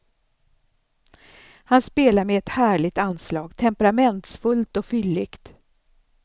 Han spelar med ett härligt anslag, temperamentsfullt och fylligt.